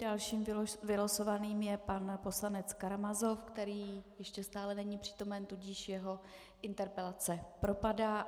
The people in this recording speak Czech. Dalším vylosovaným je pan poslanec Karamazov, který ještě stále není přítomen, tudíž jeho interpelace propadá.